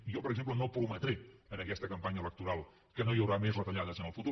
i jo per exemple no prometré en aquesta campanya electoral que no hi haurà més retalles en el futur